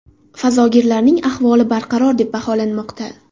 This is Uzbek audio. Fazogirlarning ahvoli barqaror deb baholanmoqda.